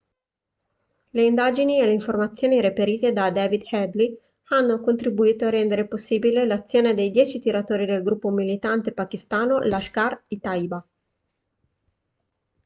le indagini e le informazioni reperite da david headley avevano contribuito a rendere possibile l'azione dei 10 tiratori del gruppo militante pakistano lashkar-e-taiba